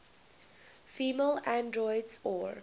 female androids or